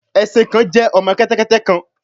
Ẹṣin kan jẹ ọmọ kẹtẹkẹtẹ kan